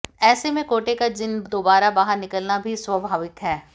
ऐसे में कोटे का जिन्न दोबारा बाहर निकलना भी स्वाभाविक है